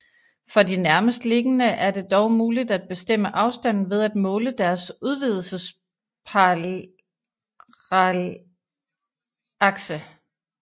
For de nærmest liggende er det dog muligt at bestemme afstanden ved at måle deres udvidelsesparallakse